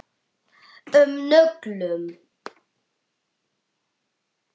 um nöglum.